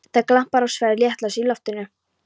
Það glampar á sverð réttlætisins í loftinu.